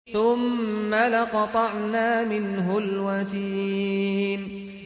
ثُمَّ لَقَطَعْنَا مِنْهُ الْوَتِينَ